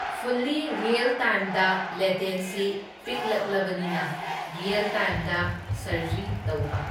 Fully real ꯇꯥꯏꯝꯗ latency ꯄꯤꯛꯂꯛꯂꯕꯅꯤꯅ real ꯇꯥꯏꯝꯗ ꯁꯔꯖꯔꯤ ꯇꯧꯕ꯫